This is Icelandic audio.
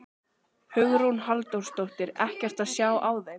Hugrún Halldórsdóttir: Ekkert að sjá á þeim?